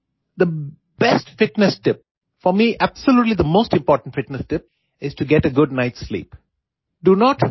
the best fitness tip for me absolutely the most important fitness tip is to get a good night slip